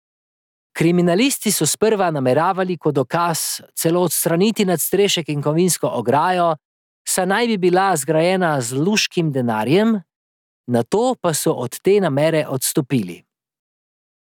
Kriminalisti so sprva nameravali kot dokaz celo odstraniti nadstrešek in kovinsko ograjo, saj naj bi bila zgrajena z luškim denarjem, nato pa so od te namere odstopili.